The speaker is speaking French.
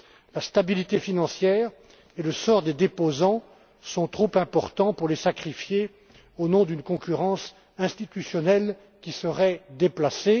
La stabilité financière et le sort des déposants sont trop importants pour les sacrifier au nom d'une concurrence institutionnelle qui serait déplacée.